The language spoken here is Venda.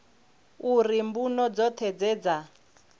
uri mbuno dzoṱhe dze dza